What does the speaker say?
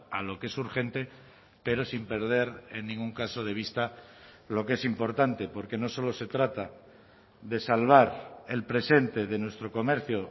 a lo que es urgente pero sin perder en ningún caso de vista lo que es importante porque no solo se trata de salvar el presente de nuestro comercio